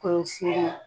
Kɔlɔsi